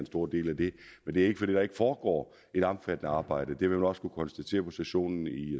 stor del af det det er ikke fordi der ikke foregår et omfattende arbejde det vil man også kunne konstatere på sessionen i